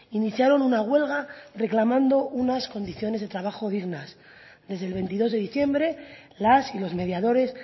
iniciaron una huelga reclamando unas condiciones de trabajo dignas desde el veintidós de diciembre las y los mediadores